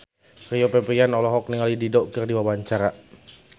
Rio Febrian olohok ningali Dido keur diwawancara